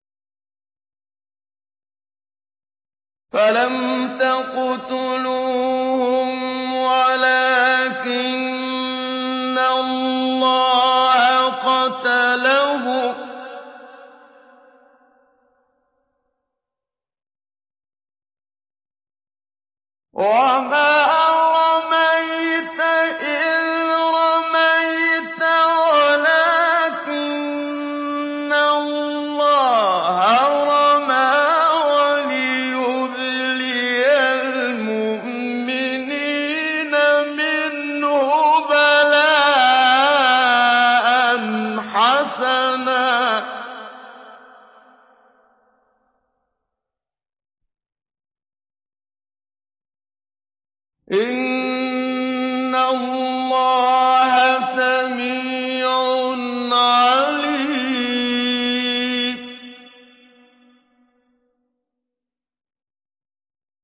فَلَمْ تَقْتُلُوهُمْ وَلَٰكِنَّ اللَّهَ قَتَلَهُمْ ۚ وَمَا رَمَيْتَ إِذْ رَمَيْتَ وَلَٰكِنَّ اللَّهَ رَمَىٰ ۚ وَلِيُبْلِيَ الْمُؤْمِنِينَ مِنْهُ بَلَاءً حَسَنًا ۚ إِنَّ اللَّهَ سَمِيعٌ عَلِيمٌ